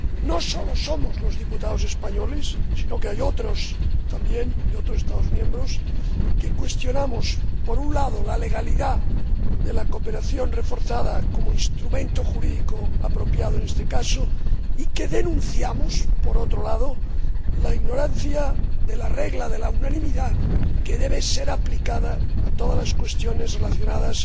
No solo somos los diputados españoles, sino que también hay otros, de otros Estados miembros, quienes cuestionamos, por un lado, la legalidad de la cooperación reforzada como instrumento jurídico apropiado en este caso y denunciamos, por otro lado, la ignorancia de la regla de la unanimidad, que debe ser aplicada a todas las cuestiones relacionadas